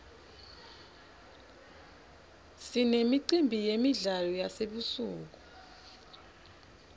sinemicimbi yemidlalo yasebusuku